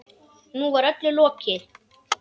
Nú var öllu lokið.